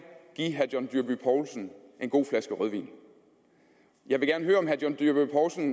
give herre john dyrby paulsen en god flaske rødvin jeg vil gerne høre om herre john dyrby paulsen